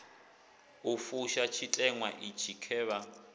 u fusha tshiteṅwa itshi khevha